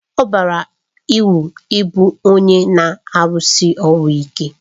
Ọ bara uru ịbụ onye na-arụsi ọrụ ike